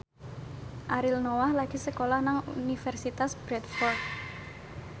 Ariel Noah lagi sekolah nang Universitas Bradford